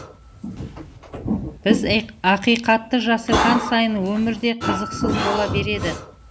біз ақиқатты жасырған сайын өмір де қызықсыз бола береді